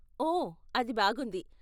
ఓ, అది బాగుంది!